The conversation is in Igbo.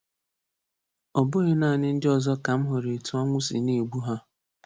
Ọ bụghị naanị ndị ọzọ ka m hụrụ etu ọnwụ si na-egbu ha.